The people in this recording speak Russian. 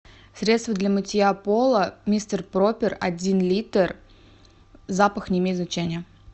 средство для мытья пола мистер пропер один литр запах не имеет значения